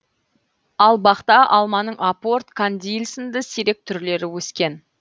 ал бақта алманың апорт кандиль сынды сирек түрлері өскен